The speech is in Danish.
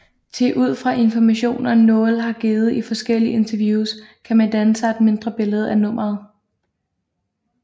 Thi ud fra informationer Noel har givet i forskellige interviews kan man danne sig et mindre billede af nummeret